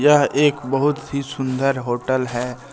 यह एक बहुत सी सुंदर होटल है।